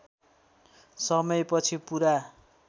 समय पछि पूरा